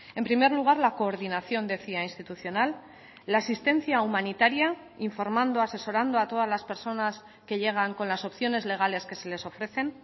en primer lugar la coordinación decía institucional la asistencia humanitaria informando asesorando a todas las personas que llegan con las opciones legales que se les ofrecen